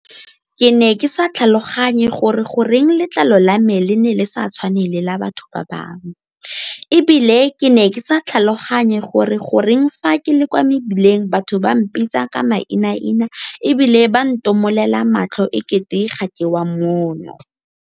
Ke ne ke sa tlhaloganye gore goreng letlalo la me le ne le sa tshwane le la batho ba bangwe, e bile ke ne ke sa tlhaloganye gore goreng fa ke le kwa mebileng batho ba mpitsa ka mainaina e bile ba ntomolela matlho e kete ga ke wa mono.